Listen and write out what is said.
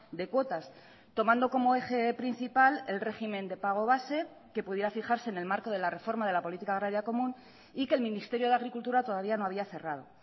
de cuotas tomando como eje principal el régimen de pago base que pudiera fijarse en el marco de la reforma de la política agraria común y que el ministerio de agricultura todavía no había cerrado